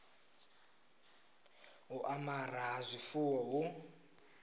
u amara ha zwifuwo hu